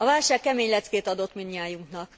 A válság kemény leckét adott mindnyájunknak.